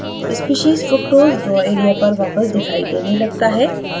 species fructose draw area पर वापस दिखाई देने लगता है